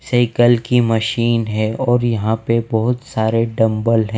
Cycle की machine है और यहां पे बहोत सारे डंबल है।